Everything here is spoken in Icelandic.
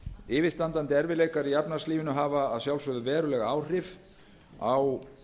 yfirstandandi erfiðleikar í efnahagslífinu hafa að sjálfsögðu veruleg áhrif á